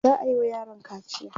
za'ayi wa yaron kaciya